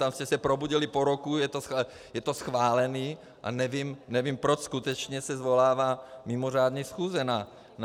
Tam jste se probudili po roce, je to schválené a nevím, proč skutečně se svolává mimořádná schůze na to.